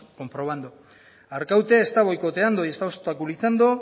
comprobando arkaute está boicoteando y está obstaculizando